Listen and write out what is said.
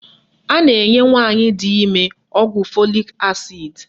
A na-enye nwaanyị di ime ọgwụ fọlik asid